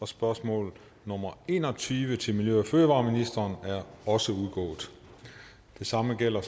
spørgsmål nummer en og tyve til miljø og fødevareministeren er også udgået det samme gælder